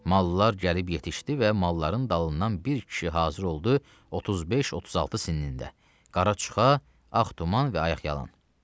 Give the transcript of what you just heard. Mallar gəlib yetişdi və malların dalından bir kişi hazır oldu 35-36 sinlində, qara çuxa, ağ tuman və ayaqyalın.